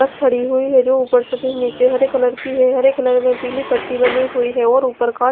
बस खड़ी हुई है जो उपर से भी निचे हरे कलर की है हरे कलर व् पिली पट्टी बनी हुई है और उपर का--